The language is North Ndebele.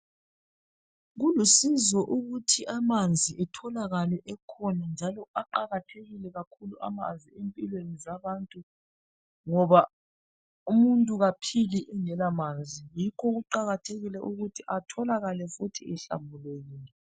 Kulusizo ukuthi amanzi etholakale ekhona njalo aqakathekile kakhulu amanzi empilweni zabantu ngoba umuntu kaphili engela manzi yikho kuqakathekile futhi ukuthi etholakale ehlambulukile.